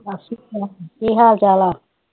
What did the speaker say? ਸਤ ਸ੍ਰੀ ਅਕਾਲ ਕੀ ਹਾਲ ਚਾਲ ਆ